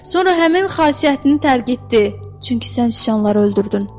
Sonra həmin xasiyyətini tərk etdi, çünki sən sıçanları öldürdün.